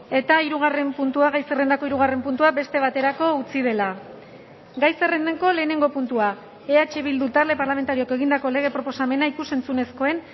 eta hirugarren puntua gai zerrendako hirugarren puntua beste baterako utzi dela gai zerrendako lehenengo puntua eh bildu talde parlamentarioak egindako lege proposamena ikus entzunezkoen